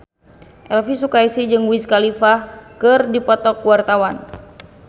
Elvi Sukaesih jeung Wiz Khalifa keur dipoto ku wartawan